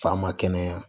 Fa ma kɛnɛya